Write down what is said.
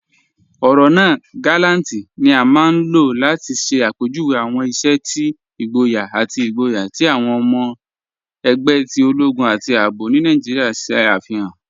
Ọrọ naa "gàlàntì" ni a maa n lọ́ láti ṣẹ̀ apẹjúwé awọn iṣẹ̀ ti igbóyà ati igbóyà ti awọn ọmọ ẹgbẹ̀ ti ologun ati ààbò ni Naijíríà ṣe afihan.